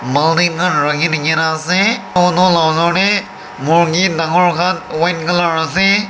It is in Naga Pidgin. murgi khan rakhi de kena dekhi ase aro to laga osor te murgi dangor khan white colour ase.